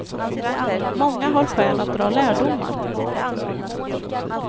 Många har skäl att dra lärdomar.